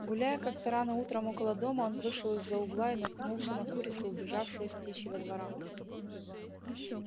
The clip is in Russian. гуляя как то рано утром около дома он вышел из за утла и наткнулся на курицу убежавшую с птичьего двора